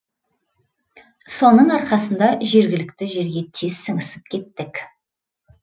соның арқасында жергілікті жерге тез сіңісіп кеттік